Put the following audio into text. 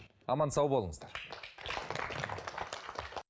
аман сау болыңыздар